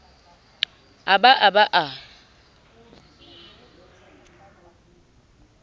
a ba a ba a